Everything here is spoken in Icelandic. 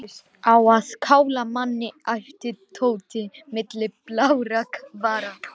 Á að kála manni æpti Tóti milli blárra vara.